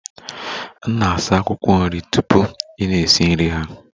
Na-asa akwụkwọ nri tupu ị na-esi nri ha!